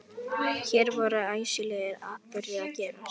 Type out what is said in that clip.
Hér voru æsilegir atburðir að gerast.